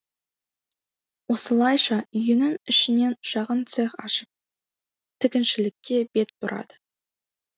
осылайша үйінің ішінен шағын цех ашып тігіншілікке бет бұрады